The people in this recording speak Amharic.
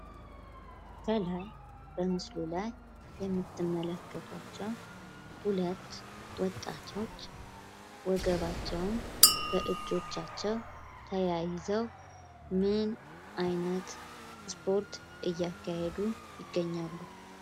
ከላይ በምስሉ ላይ የምትመለከቷቸው ሁለት ወጣቶች ወገባቸውን በእጆቻቸው ተያይዘው ምን አይነት ስፖርት እያካሄዱ ይገኛሉ?